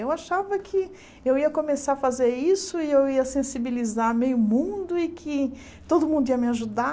Eu achava que eu ia começar a fazer isso e eu ia sensibilizar meio mundo e que todo mundo ia me ajudar.